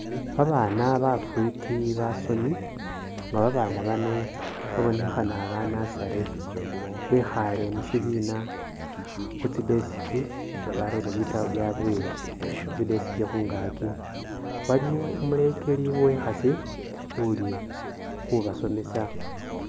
Babana bafiti basomi nga babana bano babonekhana ba nursery bekhale musibina khu tsi desk nga barere bitabo byabwe khu tsi desk khungakyi ,waliwo umulekeli uwekhasi uli khubasomesa.